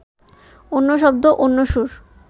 অন্য শব্দ, অন্য সুর